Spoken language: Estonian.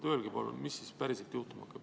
Öelge, palun, mis päriselt juhtuma hakkab.